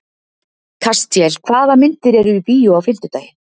Kastíel, hvaða myndir eru í bíó á fimmtudaginn?